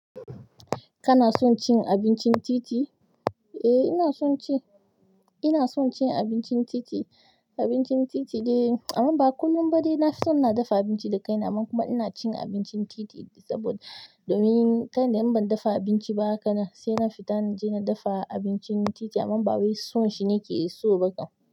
Kana son cin abincin titi? Eh, ina son ci. Ina son cin abincin titi. Abincin titi dai amma ba kullum ba dai. Na fi so na dafa abinci da kaina amma kuma ina cin abincin titi saboda domin ta in da in ban dafa abinci ba hakan nan sai na fita na je na dafa abincin titi amma ba wai son shi na ke so bafa.